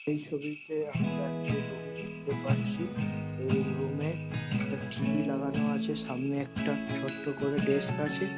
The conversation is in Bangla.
এই ছবিতে আমরা একটি রুম দেখতে পারছি। এই রুম - এ একটা টি.ভি. লাগানো আছে। সামনে একটা ছোট্ট করে ডেস্ক আছে।